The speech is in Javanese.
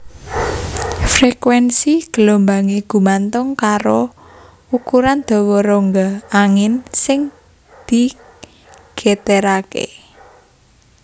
Frekuénsi gelombangé gumantung karo ukuran dawa rongga angin sing digeteraké